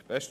Besten